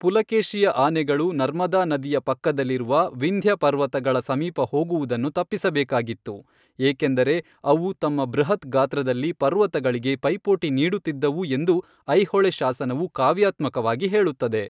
ಪುಲಕೇಶಿಯ ಆನೆಗಳು ನರ್ಮದಾ ನದಿಯ ಪಕ್ಕದಲ್ಲಿರುವ ವಿಂಧ್ಯ ಪರ್ವತಗಳ ಸಮೀಪ ಹೋಗುವುದನ್ನು ತಪ್ಪಿಸಬೇಕಾಗಿತ್ತು, ಏಕೆಂದರೆ ಅವು ತಮ್ಮ ಬೃಹತ್ ಗಾತ್ರದಲ್ಲಿ ಪರ್ವತಗಳಿಗೆ ಪೈಪೋಟಿ ನೀಡುತ್ತಿದ್ದವು ಎಂದು ಐಹೊಳೆ ಶಾಸನವು ಕಾವ್ಯಾತ್ಮಕವಾಗಿ ಹೇಳುತ್ತದೆ.